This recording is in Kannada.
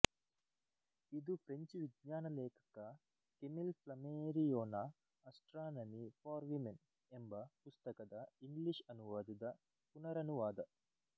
ಇದು ಫ್ರೆಂಚ್ ವಿಜ್ಞಾನ ಲೇಖಕ ಕೆಮಿಲ್ ಫ್ಲಮೇರಿಯೋನ ಅಸ್ಟ್ರಾನಮಿ ಫಾರ್ ವಿಮೆನ್ ಎಂಬ ಪುಸ್ತಕದ ಇಂಗ್ಲಿಷ್ ಅನುವಾದದ ಪುನರನುವಾದ